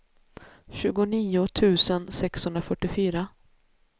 tjugonio tusen sexhundrafyrtiofyra